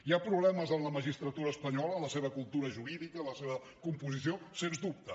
hi ha problemes en la magistratura espanyola en la seva cultura jurídica en la seva composició sens dubte